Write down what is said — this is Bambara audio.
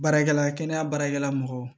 Baarakɛla kɛnɛya baarakɛla mɔgɔw